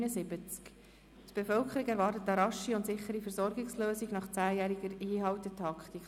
«Die Bevölkerung erwartet eine rasche und sichere Versorgungslösung nach 10-jähriger Hinhaltetaktik!».